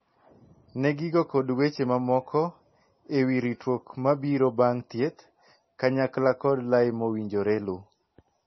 Nee gigo kod weche mamoko e wii ritruok ma biro bang' thieth, kanyakla kod lai mowinjore luu.